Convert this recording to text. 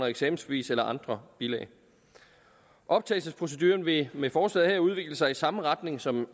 eksamensbevis eller andre bilag optagelsesproceduren vil med forslaget her udvikle sig i samme retning som